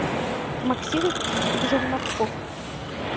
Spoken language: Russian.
максим жерновков